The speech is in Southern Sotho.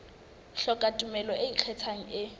hloka tumello e ikgethang e